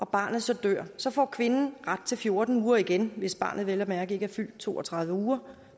barnet så dør så får kvinden ret til fjorten uger igen hvis barnet vel at mærke ikke er fyldt to og tredive uger